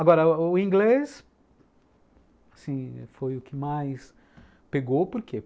Agora, o inglês, assim, foi o que mais pegou, por quê?